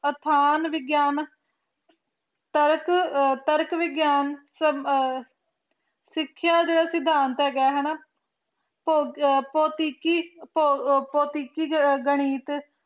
ਆਥਣ ਵਿਗਿਆਨ ਤਰਕ ਵਿਗਿਆਨ ਸਿਖ੍ਯ ਜੇ ਵਿਗਿਆਨ ਹੈਗਾ ਪੋਤਿਕੀ ਪੋਤਿਕੀ ਗਾਨਿਥ